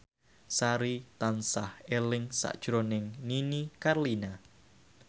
Sari tansah eling sakjroning Nini Carlina